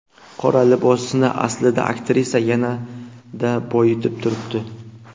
Qora libosni aslida aktrisa yanada boyitib turibdi.